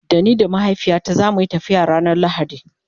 Da ni da mahaifiyata zamuyi tafiya ranar lahadi